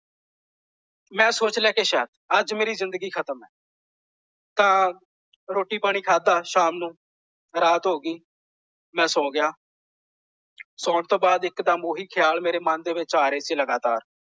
ਮੈਂ ਸੋਚ ਲਿਆ ਕੇ ਸ਼ਇਦ ਅੱਜ ਮੇਰੀ ਜਿੰਦਗੀ ਖਤਮ ਹੈ। ਤਾਂ ਰੋਟੀ ਪਾਣੀ ਖਾਦਾਂ ਸ਼ਾਮ ਨੂੰ ਰਾਤ ਹੋ ਗਈ। ਮੈਂ ਸੌ ਗਿਆ। ਸੌਣ ਤੋਂ ਬਾਅਦ ਇਕਦਮ ਓਹੀ ਖ਼ਿਆਲ ਮੇਰੇ ਮਨ ਦੇ ਵਿੱਚ ਆ ਰਹੇ ਸੀ ਲਗਾਤਾਰ।